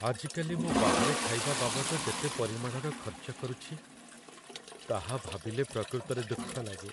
ଆଜିକାଲି ମୁଁ ବାହାରେ ଖାଇବା ବାବଦ ଯେତେ ପରିମାଣର ଖର୍ଚ୍ଚ କରୁଛି, ତାହା ଭାବିଲେ ପ୍ରକୃତରେ ଦୁଃଖ ଲାଗେ।